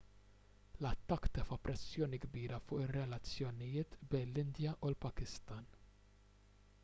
l-attakk tefa' pressjoni kbira fuq ir-relazzjonijiet bejn l-indja u l-pakistan